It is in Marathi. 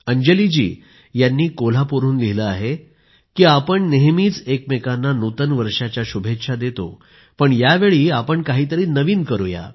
अंजली जी यांनी कोल्हापूरहून लिहिले आहे की आपण नेहमीच एकमेकांना नूतन वर्षाच्या शुभेच्छा देतो पण यावेळी आपण काहीतरी नवीन करूया